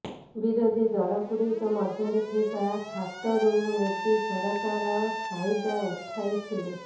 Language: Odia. ବିରୋଧୀ ଦଳଗୁଡ଼ିକ ମଧ୍ୟରେ ଥିବା ଫାଟରୁ ମୋଦି ସରକାର ଫାଇଦା ଉଠାଇଥିଲେ